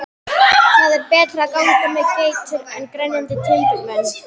Það er betra að ganga með geitur en grenjandi timburmenn.